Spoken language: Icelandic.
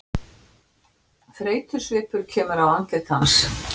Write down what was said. Þreytusvipur kemur á andlit hans.